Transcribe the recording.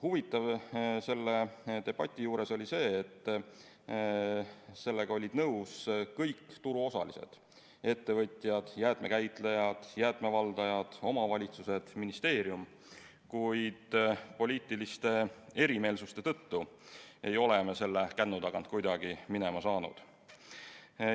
Huvitav selle debati juures oli see, et sellega olid nõus kõik turuosalised – ettevõtjad, jäätmekäitlejad, jäätmevaldajad, omavalitsused, ministeerium –, kuid poliitiliste erimeelsuste tõttu ei ole me selle kännu tagant kuidagi minema saanud.